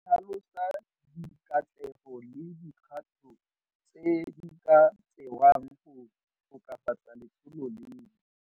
E tlhalosa dikatlego le dikgato tse di ka tsewang go tokafatsa letsholo leno.